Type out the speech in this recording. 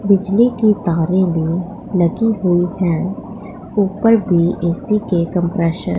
बिजली की तारे भी लगी हुई है ऊपर भी ए_सी के कंप्रेसर --